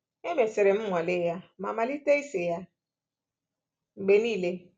Emesịrị m nwale ya ma malite ise ya mgbe nile."